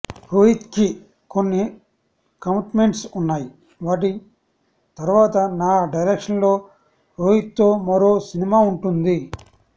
రోహిత్కి కొన్ని కమిట్మెంట్స్ ఉన్నాయి వాటి తర్వాత నా డైరెక్షన్లో రోహిత్తో మరో సినిమా ఉంటుంది